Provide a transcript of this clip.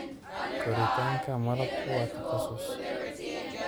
Koritaanka malabku waa takhasus.